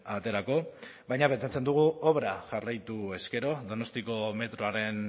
aterako baina pentsatzen dugu obra jarraituz gero donostiako metroaren